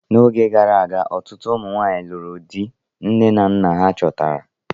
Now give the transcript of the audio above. Oge gara aga, ọtụtụ ụmụ nwanyị lụrụ di nne na nna ha chọtara.